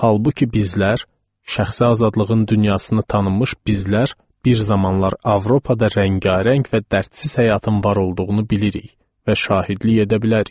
Halbuki bizlər, şəxsi azadlığın dünyasını tanımış bizlər bir zamanlar Avropada rəngarəng və dərdsiz həyatın var olduğunu bilirik və şahidlik edə bilərik.